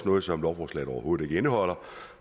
noget som lovforslaget overhovedet ikke indeholder